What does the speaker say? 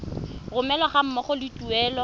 romelwa ga mmogo le tuelo